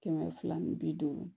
Kɛmɛ fila ni bi duuru